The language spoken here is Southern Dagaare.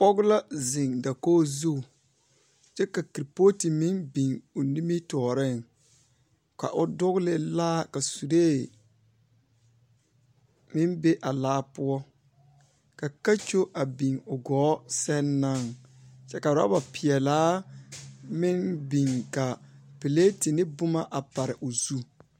Pɔge la zeŋ dakog zuŋ. Kyɛ ka kirpooti meŋ biŋ o nimitɔɔreŋ, ka o dogele laa la suree, meŋ be a laa poɔ. Ka kakyo biŋ o gɔɔ sɛŋ naŋ, kyɛ oraba peɛlaa meŋ biŋ ka pileti ne boma a pare o zu.